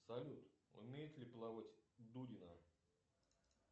салют умеет ли плавать дудина